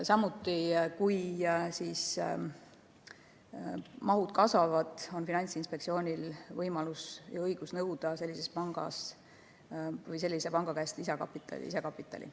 Samuti, kui mahud kasvavad, on Finantsinspektsioonil võimalus ja õigus nõuda selliselt pangalt lisakapitali olemasolu.